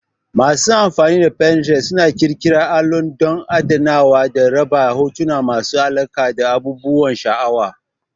Masu amfani da Pininterest suna ƙirƙira allo don adanawa da raba hotuna masu alaƙa da abubuwan sha'awa.